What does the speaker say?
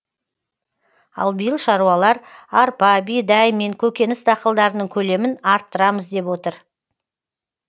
ал биыл шаруалар арпа бидай мен көкөніс дақылдарының көлемін арттырамыз деп отыр